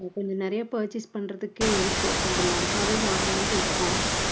கொஞ்சம் நிறைய purchase பண்றதுக்கு இருக்கு. கொஞ்சம் லம்பாவே வாங்கலான்ட்டு இருக்கோம்.